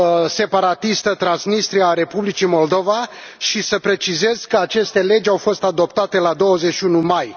separatistă Transnistria a Republicii Moldova și să precizez că aceste legi au fost adoptate la 21 mai.